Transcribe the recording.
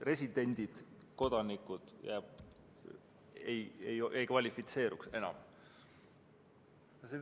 Residendid, kodanikud ei kvalifitseeruks enam.